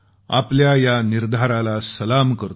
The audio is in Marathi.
आपल्या या निर्धाराला सलाम करतो